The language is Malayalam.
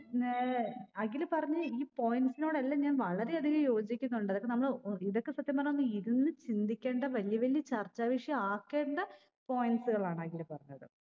ന്നേ അഖില് പറഞ്ഞ ഈ points നോടെല്ലാം ഞാൻ വളരെ അധികം യോജിക്കുന്നുണ്ട് അതൊക്കെ നമ്മള് ഒ ഇതൊക്കെ സത്യം പറഞ്ഞ ഒന്ന് ഇരുന്ന് ചിന്തിക്കെണ്ട വലിയ വലിയ ചർച്ചാ വിഷയം ആക്കേണ്ട points കളാണ് അഖില് പറഞ്ഞത്